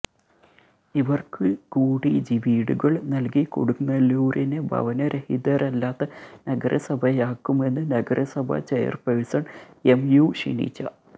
ഇവർക്ക് കൂടി വീടുകൾ നൽകി കൊടുങ്ങല്ലൂരിനെ ഭവനരഹിതരില്ലാത്ത നഗരസഭയാക്കുമെന്ന് നഗരസഭ ചെയർപേഴ്സൺ എം യു ഷിനിജ